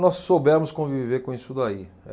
Nós soubemos conviver com isso daí.